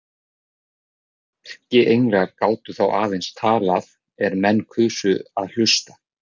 Erkienglar gátu þá aðeins talað er menn kusu að hlusta.